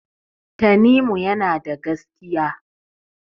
Tanimu yana da gaskiya.